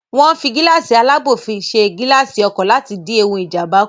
Wọ́n ń fi gíláàsì alábò fi ṣe gilaasi ọkọ̀ láti dín ewu Ìjàmbá kù